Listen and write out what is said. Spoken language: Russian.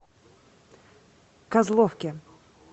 козловке